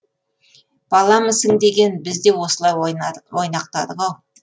баламысың деген біз де осылай ойнақтадық ау